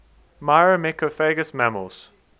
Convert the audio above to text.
myrmecophagous mammals